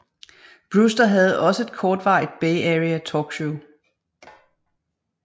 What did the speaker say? Brewster havde også et kortvarig Bay Area talkshow